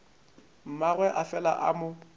mmagwe a fela a mo